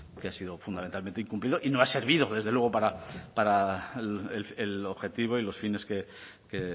que ha sido fundamentalmente incumplido y no ha servido desde luego para el objetivo y los fines que